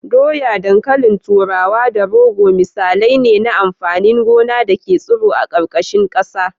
Dawa, dankalin turawa da rogo misalai ne na amfanin gona da ke tsiro a ƙarƙashin ƙasa.